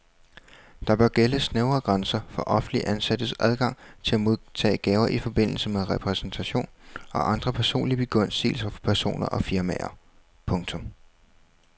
Der bør gælde snævre grænser for offentligt ansattes adgang til at modtage gaver i forbindelse med repræsentation og andre personlige begunstigelser fra personer og firmaer. punktum